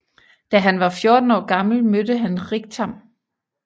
Da han var 14 år gammel mødte han Riktam